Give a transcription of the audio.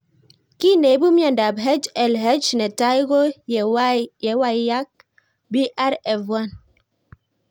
Kiy neipu miondop HLH netai ko yewalak PRF1